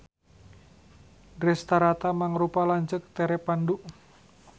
Drestarata mangrupa lanceuk tere Pandu.